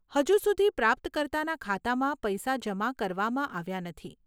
હજુ સુધી પ્રાપ્તકર્તાના ખાતામાં પૈસા જમા કરવામાં આવ્યા નથી.